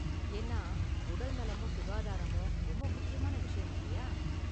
ஏன்னா, உடல்நலமும் சுகாதாரமும் ரொம்ப முக்கியமான விஷயம் இல்லயா?